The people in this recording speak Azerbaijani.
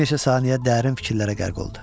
Bir neçə saniyə dərin fikirlərə qərq oldu.